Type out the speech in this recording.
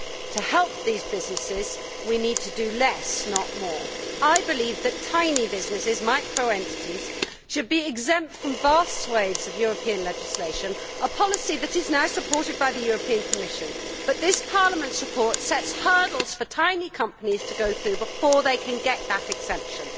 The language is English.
To help these businesses we need to do less, not more. Tiny businesses, micro entities, should be exempt from vast swathes of European legislation, a policy that is now supported by the European Commission, but this Parliament's report sets hurdles for tiny companies to go through before they can get that exemption.